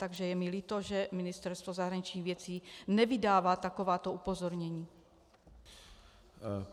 Takže je mi líto, že Ministerstvo zahraničních věcí nevydává takováto upozornění.